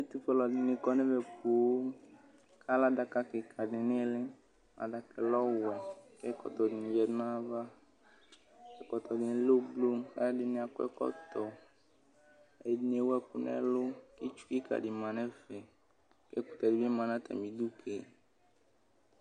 Ɛtʋfue alʋdini kɔnʋ ɛmɛ poo kʋ alɛ adaka kika di nʋ iili adaka yɛ lɛ ɔwɛ kʋ ɛkɔtɔ ni yadʋ nʋ ayava ɛkɔtɔ dini lɛ ofue ɛkɔtɔ ɛdini lɛ ʋblʋ ɛdini ewʋ ɛkʋ nʋ ɛlʋ itsu kika di manʋ ɛfɛ kʋ ɛkʋtɛ dibi manʋ atami idʋ kɛ